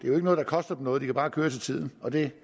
er noget der koster dem noget jo bare køre til tiden og det